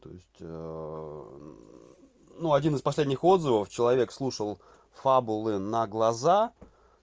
то есть ну один из последних отзывов человек слушал фабулы на глаза